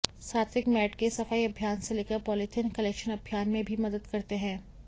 सात्विक मैड के सफाई अभियान से लेकर पॉलिथिन कलेक्शन अभियान में भी मदद करते हैं